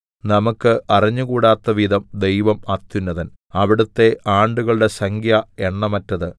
നമുക്ക് അറിഞ്ഞുകൂടാത്തവിധം ദൈവം അത്യുന്നതൻ അവിടുത്തെ ആണ്ടുകളുടെ സംഖ്യ എണ്ണമറ്റത്